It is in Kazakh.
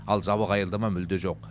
ал жабық аялдама мүлде жоқ